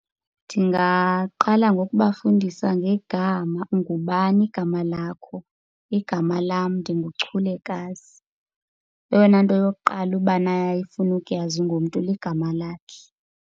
Ndingaqala ngokubafundisa ngegama. Ungubani igama lakho? Igama lam ndinguChulekazi. Eyona nto yokuqala ubani aye afune ukuyazi ngomntu ligama lakhe.